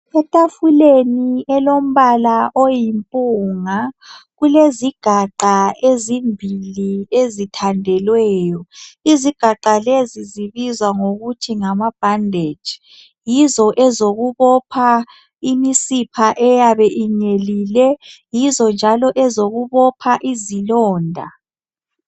Etafuleni elombala oyimpunga kulezigaqa ezimbili ezithandelweyo izigaqa lezi zibizwa ngokuthi ngamabhandeji yizo ezokubopha imisipha eyabe inyelile yizo njalo ezokubopha izilonda.